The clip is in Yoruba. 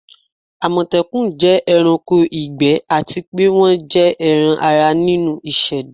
amotekun jẹ ẹranko igbẹ ati pe wọn jẹ ẹran-ara ninu iseda